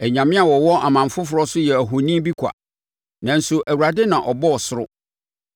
Anyame a wɔwɔ aman foforɔ so yɛ ahoni bi kwa, nanso Awurade na ɔbɔɔ ɔsoro.